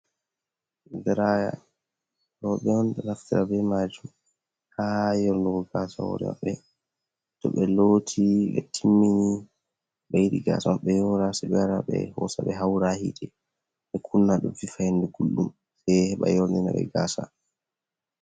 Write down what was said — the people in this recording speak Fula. Diraya, rewɓe on ɗo naftara be majuum ha yornugo gaasa hore maɓɓe to be loti be timmini be yiɗi gaasa maɓɓe be yora sai ɓe hosa ɓe haura ha yite ɓe kunna, do fifahinde gulɗum heɓa yorni naɓe gaasa.